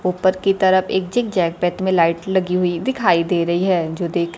ऊपर की तरफ एक ज़िगज़ैग पैथ में लगी हुए दिखाई दे रही है जो देख--